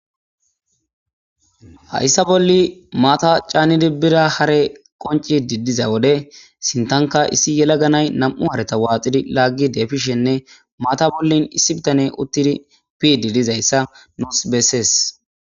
Hayssa bolli maata caanidi bira hare qonci didiza wode sintanka issi yela ganay nam7u hareta waaxidi laaggi deefishenne maata bollin issi bitane uttiri piidi dizayssa nos bessees.